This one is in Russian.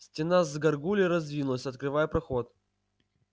стена с гаргульей раздвинулась открывая проход